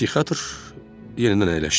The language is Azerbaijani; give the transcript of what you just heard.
Psixiatr yenidən əyləşdi.